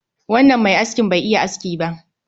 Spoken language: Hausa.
Wannan mai askin Bai iya aski ba